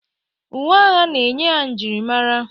Uwe agha na-enye ha njirimara.